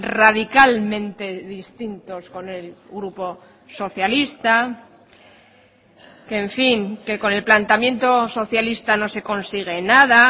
radicalmente distintos con el grupo socialista que en fin con el planteamiento socialista no se consigue nada